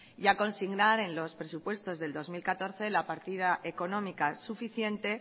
y a consignar en los presupuestos del dos mil catorce la partida económica suficiente